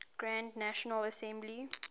grand national assembly